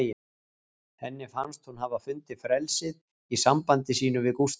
Henni fannst hún hafa fundið frelsið í sambandi sínu við Gústaf